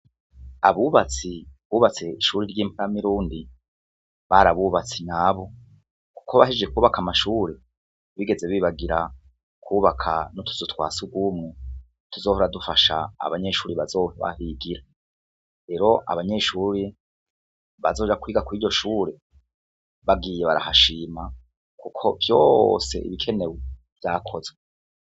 Abubatsi bubatse ishuri ry'impama irundi bari abubatsi nabu, kuko bahije kubaka amashuri bigeze bibagira kwubaka notuzu twa sugumu tuzohora dufasha abanyeshuri bazoahigira, rero abanyeshuri bazoja kwiga kw'iryo shure bagiye barahashima, kuko vyose ibikenewe vyakozwe.